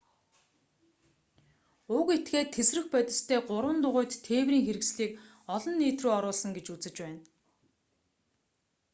уг этгээд тэсрэх бодистой гурван дугуйт тээврийн хэрэгслийг олон нийт рүү оруулсан гэж үзэж байна